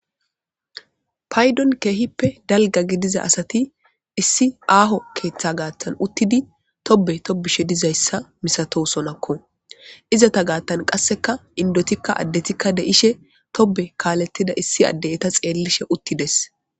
Paydon keehippe dalga gidiza asati issi aaho keeththa gaattan uttidi tobe tobishe dizayssa misato sonakko izata gaattan qasseka indotikka addetikka deishe tobe kaalettida issi adde7eta xeellishe uttides.